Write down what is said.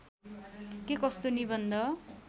के कस्तो निबन्ध